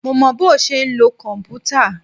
Mo mọ bọ́ ṣe ń lo kòmpútà.